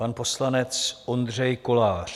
Pan poslanec Ondřej Kolář.